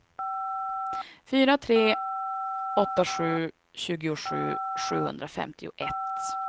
fyra tre åtta sju tjugosju sjuhundrafemtioett